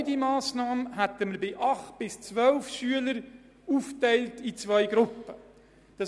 Ohne diese Massnahme hätten wir bei 8 bis 12 Schülern die Klassen in zwei Gruppen aufgeteilt.